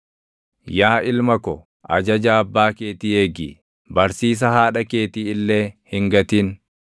Yaa ilma ko, ajaja abbaa keetii eegi; barsiisa haadha keetii illee hin gatin.